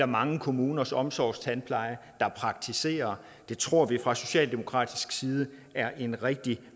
mange kommuners omsorgstandpleje der praktiserer det tror vi fra socialdemokratisk side er en rigtig